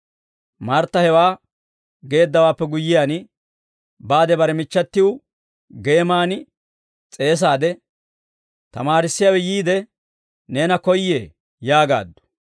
Martta hewaa geeddawaappe guyyiyaan, baade bare michchatiw geeman s'eesaade, «Tamaarissiyaawe yiide, neena koyyee» yaagaaddu.